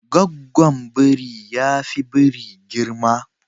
Gaggwon biri yafi biri girma.